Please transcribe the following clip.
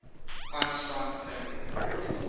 einstein family